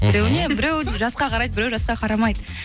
біреуіне біреу жасқа қарайды біреу жасқа қарамайды